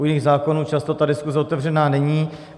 U jiných zákonů často ta diskuze otevřená není.